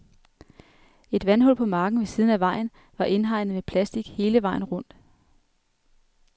Et vandhul på marken ved siden af vejen var indhegnet med plastik hele vejen rundt.